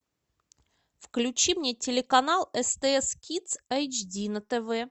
включи мне телеканал стс кидс эйч ди на тв